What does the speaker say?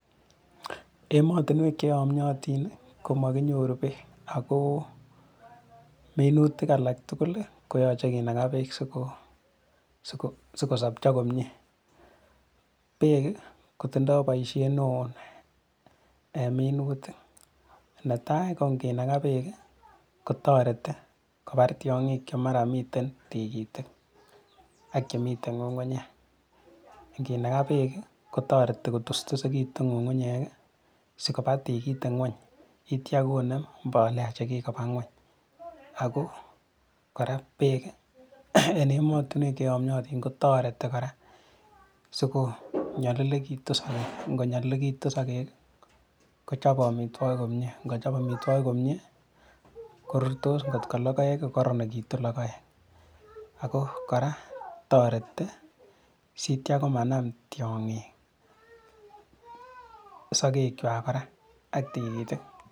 Emotinywek cheyomiotin komokinyoru beek ako minutik alak tugul koyoche kinakaa beek sikosopcho komie, beek kotindoo boisiet neo en minutik, netai ko nginakaa beek kotoreti kopar tiong'ik chemara miten tikitik ak chemiten ng'ung'unyek inginakaa beek kotoreti kutustusikitu ng'ung'unyek sikopaa tikitik ngweny sitian konem mbolea chekikopaa ngweny ako kora beek en emotinwek cheyomiatin kotoreti kora sikonyolilekitu sokek ngonyolilekitu sokek kochope amitwokiki komie ngochop amitwokiki komie korurtos ngot ko logoek kokororonekitu logoek, ako kora toreti sitia komanam tiong'ik sokekwak kora ak tikitik.